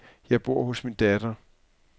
Jeg bor hos min datter.